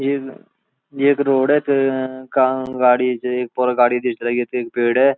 इन येक रोड यक काला गाडी च एक पूरा गाडी क ढिस लगी यक त एक पेड़ है।